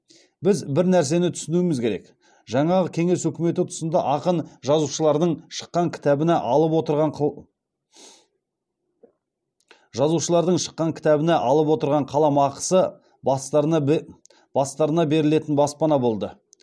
біз бір нәрсені түсінуіміз керек жаңағы кеңес үкіметі тұсында ақын жазушылардың шыққан кітабына алып отырған қаламақысы бастарына берілетін баспана болды